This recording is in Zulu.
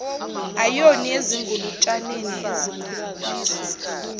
ayoni ezingulutshaneni ezikhuliswa